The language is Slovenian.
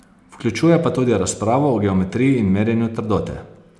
Vključuje pa tudi razpravo o geometriji in merjenju trdote.